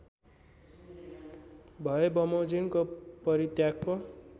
भएबमोजिमको परित्यागको